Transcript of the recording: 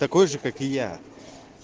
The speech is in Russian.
такой же как и я